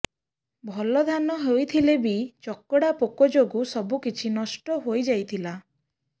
ଭଲ ଧାନ ହୋଇଥିଲେ ବି ଚକଡା ପୋକ ଯୋଗୁଁ ସବୁକିଛି ନଷ୍ଟ ହୋଇଯାଇଥିଲା